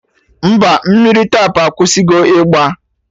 Mba, mmiri Tap akwụsịgo ịgba